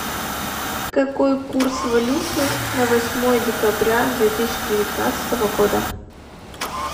какой курс валюты на восьмое декабря две тысячи девятнадцатого года